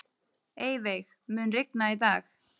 Eyveig, mun rigna í dag?